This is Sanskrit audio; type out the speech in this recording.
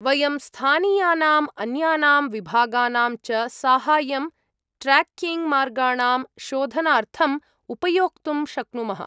वयं स्थानीयानाम् अन्यानां विभागानां च साहाय्यं ट्रेक्किङ्ग्मार्गाणां शोधनार्थं उपयोक्तुं शक्नुमः।